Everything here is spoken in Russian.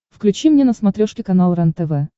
включи мне на смотрешке канал рентв